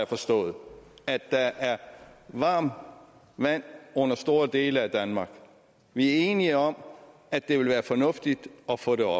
forstået at der er varmt vand under store dele af danmark vi er enige om at det vil være fornuftigt at få det